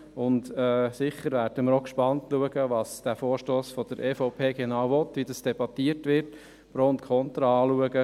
Wir werden sicher gespannt darauf schauen, was der Vorstoss der EVP genau will, wie er debattiert wird und welche Argumente pro und contra aufgeführt werden.